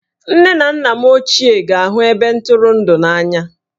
Nne na nna m ochie ga-ahụ ebe ntụrụndụ a n'anya